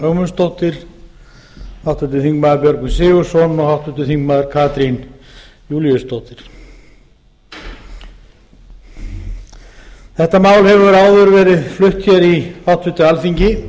ögmundsdóttir háttvirtir þingmenn björgvin g sigurðsson og háttvirtur þingmaður katrín júlíusdóttir þetta mál hefur áður verið flutt hér í háttvirtu alþingi